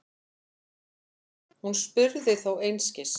Hún spurði þó einskis.